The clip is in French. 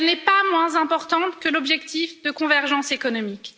Elle n'est pas moins importante que l'objectif de convergence économique.